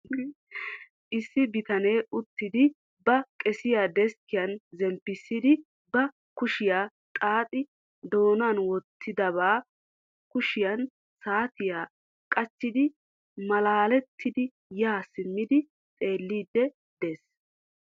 Issi bitanee uttidi ba qesiya deskkiyan zemppissidi ba kushiya xaaxi doonan wottidiba kushiyan saatiya qachchidi malaalettiiddi yaa simmidi xeelliddi des.